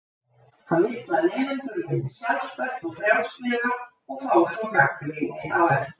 Hann vill að nemendur vinni sjálfstætt og frjálslega og fái svo gagnrýni á eftir.